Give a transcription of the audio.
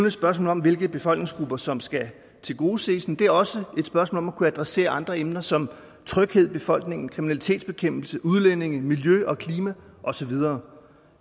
et spørgsmål om hvilke befolkningsgrupper som skal tilgodeses den er også et spørgsmål om at kunne adressere andre emner som tryghed i befolkningen kriminalitetsbekæmpelse udlændinge miljø og klima og så videre